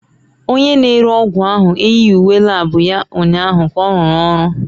Onye na-ere ọgwụ ahụ eyighị uwe lab ya ụnyaahụ ka ọ rụọ ọrụ